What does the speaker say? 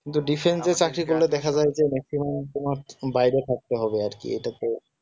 যে চাকরি গুলো দেখা যায় যে maximum তোমার বাইরে থাকতে হবে আর কি এটা তো